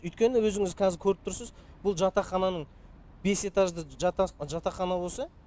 өйткені өзіңіз қазір көріп тұрсыз бұл жатақхананың бес этажды жатақхана болса